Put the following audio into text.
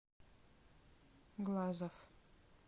глазов